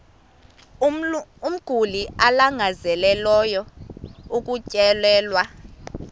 umguli alangazelelayo ukutyelelwa